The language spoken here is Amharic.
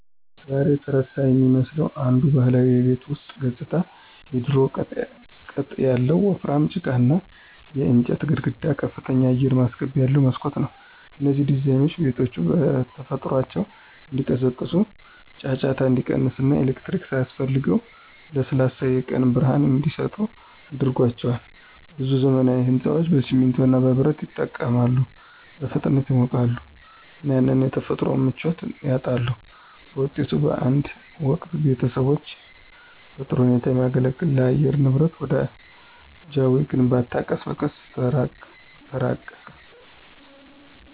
ዛሬ የተረሳ የሚመስለው አንዱ ባህላዊ የቤት ውስጥ ገጽታ የድሮው ቅጥ ያለው ወፍራም ጭቃና የእንጨት ግድግዳ ከፍተኛ አየር ማስገቢያ ያለው መስኮት ነው። እነዚህ ዲዛይኖች ቤቶቹ በተፈጥሯቸው እንዲቀዘቅዙ፣ ጫጫታ እንዲቀንስ እና ኤሌክትሪክ ሳያስፈልጋቸው ለስላሳ የቀን ብርሃን እንዲሰጡ አድርጓቸዋል። ብዙ ዘመናዊ ሕንፃዎች በሲሚንቶ እና በብረት ይጠቀማሉ, በፍጥነት ይሞቃሉ እና ያንን የተፈጥሮ ምቾት ያጣሉ. በውጤቱም፣ በአንድ ወቅት ቤተሰቦችን በጥሩ ሁኔታ ከሚያገለግል ለአየር ንብረት ወዳጃዊ ግንባታ ቀስ በቀስ ተራቅን።